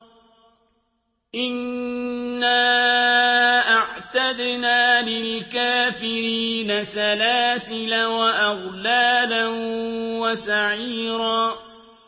إِنَّا أَعْتَدْنَا لِلْكَافِرِينَ سَلَاسِلَ وَأَغْلَالًا وَسَعِيرًا